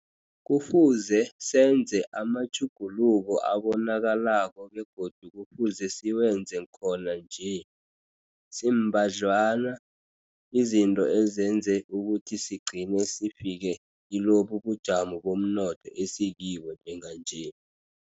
Kufuze senze amatjhuguluko abonakalako begodu kufuze siwenze khona nje. Zimbadlwana izinto ezenze ukuthi sigcine sifike kilobu bujamo bomnotho esikibo njenganje.